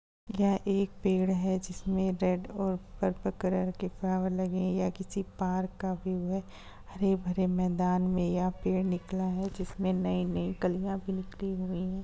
एक पेड़ है जिसमें रेड और पर्पल कलर के फ्लावर लगे हैं या किसी पार्क का व्यू है हरे-भरे मैदान में या पेड़ निकला है जिसमें नई-नई कलियां भी निकली हुई है।